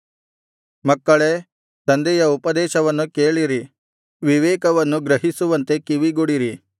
ಮಕ್ಕಳೇ ತಂದೆಯ ಉಪದೇಶವನ್ನು ಕೇಳಿರಿ ವಿವೇಕವನ್ನು ಗ್ರಹಿಸುವಂತೆ ಕಿವಿಗೊಡಿರಿ